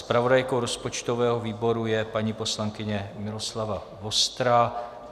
Zpravodajkou rozpočtového výboru je paní poslankyně Miloslava Vostrá.